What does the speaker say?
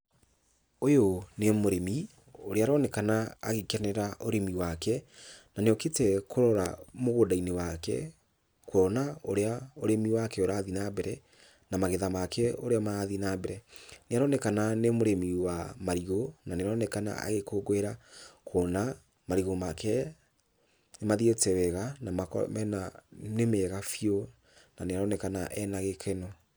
Ũyũ nĩ mũrĩmi, ũrĩa aroneana agĩkenera ũrĩmi wake, na nĩokĩte kũrora mũgũnda-inĩ wake kuona ũrĩa ũrĩmi wake ũrathiĩ na mbere, na magetha make ũrĩa marathiĩ na mbere. Nĩaronekana nĩ mũrĩmi wa marigũ na nĩaronekana agĩkũngũĩra kuona marigũ make nĩmathiĩte wega na makoro mena, nĩ mega biũ na nĩaronekana ena gĩkeno.